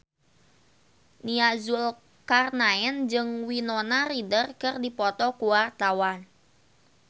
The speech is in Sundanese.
Nia Zulkarnaen jeung Winona Ryder keur dipoto ku wartawan